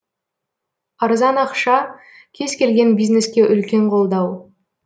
арзан ақша кез келген бизнеске үлкен қолдау